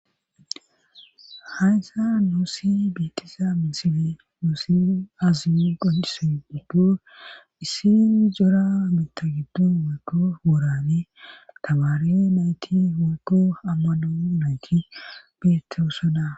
Haysa nuusi bitisa misile nusi aziu gondisun giddo issin jora mita giddun wolko worane tabaare nayti wolko ammano nayti beettosoda.